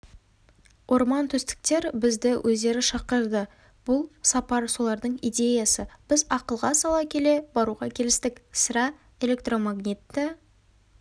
ормантөстіктер бізді өздері шақырды бұл сапар солардың идеясы біз ақылға сала келе баруға келістік сірә электромагнитті